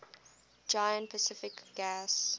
giant pacific gas